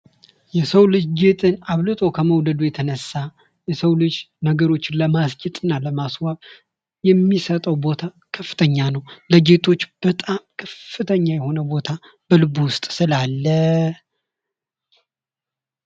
የሰው ልጅ ጌጥን አብልጦ ከመውደዱ የተነሳ የሰው ልጅ ነገሮችን በማስጌጥ እና ለማስዋብ የሚሰጠው ቦታ ከፍተኛ ነው ። የጌጦች በጣም ከፍተኛ የሆነ ቦታ በልቡ ውስጥ ስላለ